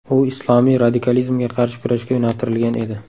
U islomiy radikalizmga qarshi kurashga yo‘naltirilgan edi.